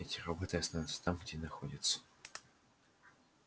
эти роботы останутся там где и находятся